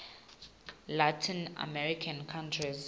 latin american countries